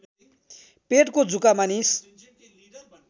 पेटको जुका मानिस